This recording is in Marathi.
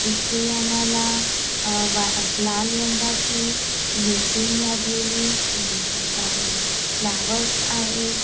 इथे आम्हाला लाल रंगाची मीटिंग लागलेली दिसत आहे फ्लावर्स आहेत.